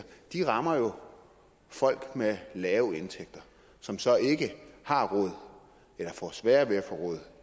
de rammer jo folk med lave indtægter som så ikke har råd eller får sværere ved at få råd